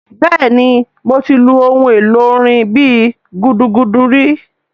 Bẹ́ẹ̀ni mo ti lu ohun èlò orin bíi gúdúgúdú ri